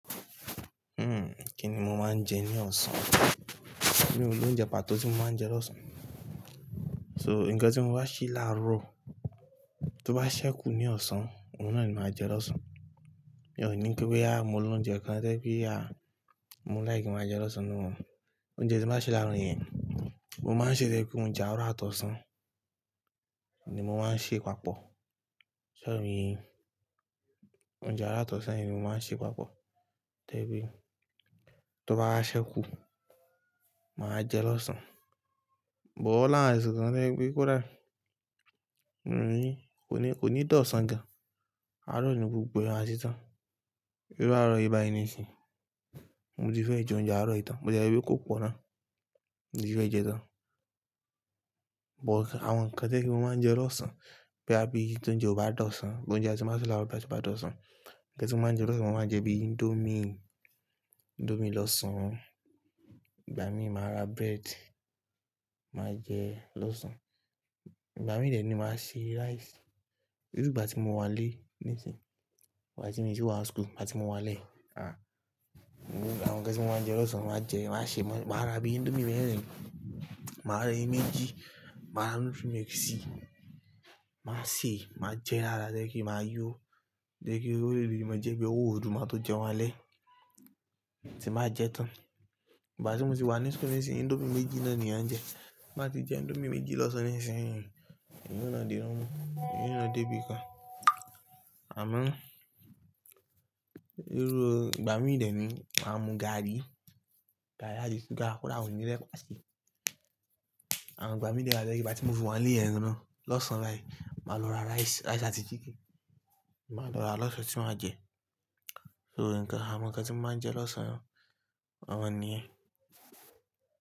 Hmm, kíni mo máa ń jẹ ní ọ̀sán? Mi ò ní oúnjẹ pàtó tí mo máa ń jẹ lọ́sàn-án. So, ǹkan tí mo bá ṣì láàrọ̀, tó bá ṣẹ́kù ní ọ̀sán, òun náà ni màá jẹ lọ́sàn-án. Èmi ò ní pé, bóyá mo ní oúnjẹ kan to je pe ya, mo like kin máa jẹ lọ́sàn náà. Oúnjẹ tí mo bá ṣì láàrọ̀ yẹn, mo máa ń ṣe tẹ́ kí oúnjẹ àárọ̀ àtọ̀san ni mo máa ń ṣe papọ̀. Sorry. Oúnjẹ àárọ̀ àtọ̀san ni mo máa ń ṣe papọ̀. Tẹ́ bí, tó bá ṣẹ́kù, màá jẹ lọ́sán. But oni àwọn to je pé kódà, mo ní, kò ní, kò ní tọ̀san gan. Àárọ̀ ni gbogbo àtìtán. Bí irú àárọ̀ yi ìbà níìsín, mo ti fẹ́ jẹ oúnjẹ àárọ̀ ìtàn. Bo tie je wípé kò pọ̀ ná. Mo ti fẹ́ jẹ tán. But àwọn ǹkan tẹ́ kí mo máa ń jẹ lọ́sán, bí i tó ń jẹ ọba tọ̀san, oúnjẹ tí mo bá ṣì láàrọ̀ bá ti tọ́ san. Ǹkan tí mo máa ń jẹ lọ́sán, mo máa ń jẹ bí i índómì, índómì lọ́sán. Ìgbà mí màá ra bread, màá jẹ lọ́sán. Ìgbà mí dẹ̀ ni màá ṣe rice. Èyí ni ìgbà tí mo wà nlé níìsín, wàá tí mo sì wà school, láti mo wà lé. À. Àwọn ǹkan tí mo máa ń jẹ lọ́sán, màá jẹ, màá ṣe, màá ra bíi índómì mẹ́ẹ̀rin, màá ra ẹyin méjì, màá ra nutrimilk si màá wa sèé, màá jẹ dáadáa to je pe màá yó. Torí kí ó léèlé, mo jẹ́ bí ó wù ú máa tó jẹun wá lé, sì máa jẹ tán. Ìgbà tí mo sì wà ní school níìsín, índómì méjì náà ni à ń jẹ. Máa ti jẹ índómì méjì lọ́sán níìsín, ìyè náà dé rán mú, ìyè náà dé bí i kan. Àmọ́, irú, ìgbà mí dè ni màá mú gààrí, gààrí àti súgà, kódà mio òní ra epá sì. Àwọn ìgbà mí dè tio je pe igbatí mo wà ilé náà màá lọ ra rice, rice àti chicken. Màá lọ ra lọ́sán tí màá jẹ. So, ǹkan, àwọn ǹkan tí mo máa ń jẹ lọ́sán, àwọn náà ni ye.